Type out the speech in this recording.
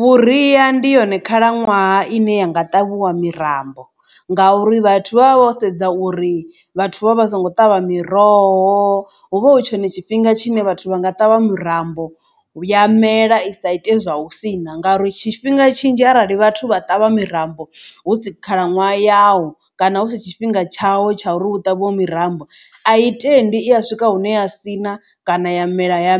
Vhuria ndi yone khalaṅwaha ine yanga ṱavhiwa mirambo, ngauri vhathu vha vha vho sedza uri vhathu vha vha songo ṱavha miroho hu vha hu tshone tshifhinga tshine vhathu vha nga ṱavha murambo ya mela i sa ite zwa u sina ngauri tshifhinga tshinzhi arali vhathu vha ṱavha mirambo hu si khalaṅwaha yao kana hu si tshifhinga tshawo tsha uri hu ṱavhiwe mirambo ai tendi i a swika hune a sina kana ya mela ya